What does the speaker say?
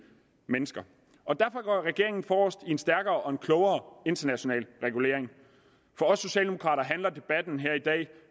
mennesker og derfor går regeringen forrest i en stærkere og en klogere international regulering for os socialdemokrater handler debatten her i dag